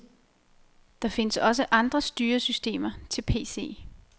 Der findes også andre styresystemer til PC.